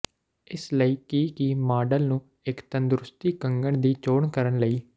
ਇਸ ਲਈ ਕਿ ਕੀ ਮਾਡਲ ਨੂੰ ਇੱਕ ਤੰਦਰੁਸਤੀ ਕੰਗਣ ਦੀ ਚੋਣ ਕਰਨ ਲਈ